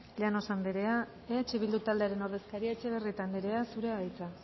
llanos andrea eh bildu taldearen ordezkaria etxebarrieta andrea zurea da hitza